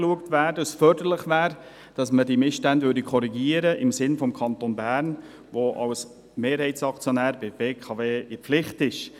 Es wäre förderlich, wenn diese Missstände im Sinne des Kantons Bern korrigiert werden könnten, da dieser als Mehrheitsaktionär der BKW in der Pflicht steht.